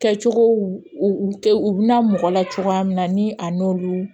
Kɛcogow u bɛna mɔgɔ la cogoya min na ni a n'olu